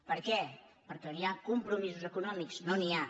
per què perquè on hi ha compromisos econòmics no n’hi ha